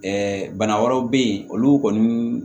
Ɛɛ bana wɛrɛw be yen olu kɔni